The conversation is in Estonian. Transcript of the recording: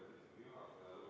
Lugupeetud juhataja!